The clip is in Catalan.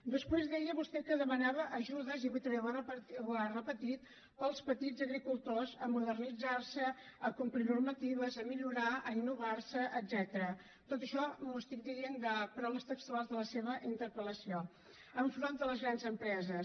després deia vostè que demanava ajudes i avui també ho ha repetit per als petits agricultors per modernitzar se per complir normatives per millorar per innovar se etcètera tot això ho estic dient amb paraules textuals de la seva interpelgrans empreses